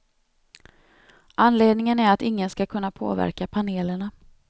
Anledningen är att ingen skall kunna påverka panelerna.